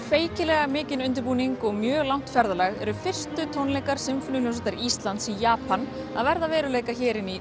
feykilega mikinn undirbúning og mjög langt eru fyrstu tónleikar Sinfóníuhljómsveitar Íslands í Japan að verða að veruleika hér inni í